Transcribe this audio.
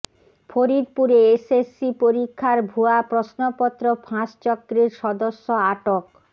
ফরিদপুরে এসএসসি পরীক্ষার ভুয়া প্রশ্নপত্র ফাঁস চক্রের সদস্য আটক